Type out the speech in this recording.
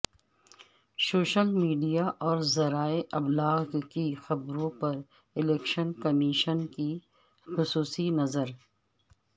social media اور ذرائع ابلاغ کی خبروں پر الیکشن کمیشن کی خصوصی نظر